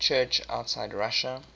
church outside russia